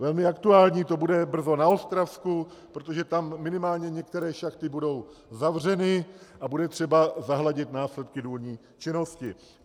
Velmi aktuální to bude brzy na Ostravsku, protože tam minimálně některé šachty budou zavřeny a bude třeba zahladit následky důlní činnosti.